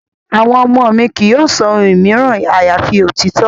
Àwọn ọmọ mi kì yóò sọ ohun mìíràn àyàfi òtítọ́.